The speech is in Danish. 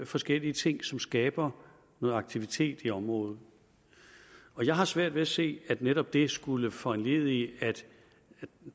forskellige ting som skaber noget aktivitet i området jeg har svært ved at se at netop det skulle foranledige at